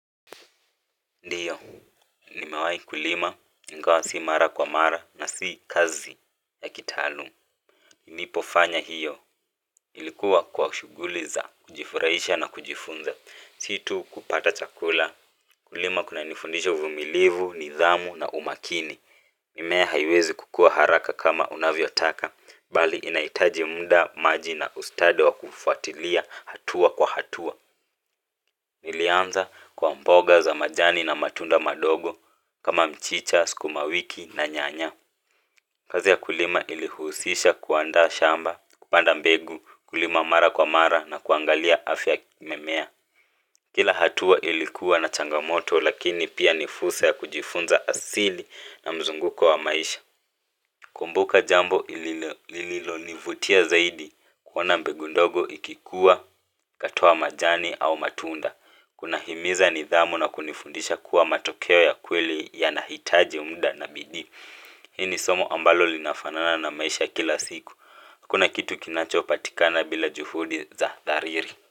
Ndiyo, nimewahi kulima, ingawa si mara kwa mara na si kazi ya kitaaluma. Nilipofanya hiyo, ilikuwa kwa shughuli za, kujifurahisha na kujifunza, si tu kupata chakula. Kulima kuna nifundisha uvumilivu, nidhamu na umakini. Mimea haiwezi kukua haraka kama unavyotaka, bali inahitaji muda maji na ustadi wa kufuatilia hatua kwa hatua. Nilianza kwa mboga za majani na matunda madogo kama mchicha, sukumawiki na nyanya kazi ya kulima ilihusisha kuandaa shamba, kupanda mbegu, kulima mara kwa mara na kuangalia afya mimea kila hatua ilikuwa na changamoto lakini pia nifursa ya kujifunza asili na mzunguko wa maisha kumbuka jambo ilililo nivutia zaidi kuona mbegu ndogo ikikua ikatoa majani au matunda. Kunahimiza nidhamu na kunifundisha kuwa matokeo ya kweli yanahitaji muda na bidii hili somo ambalo linafanana na maisha kila siku hakuna kitu kinachopatikana bila juhudi za dhariri.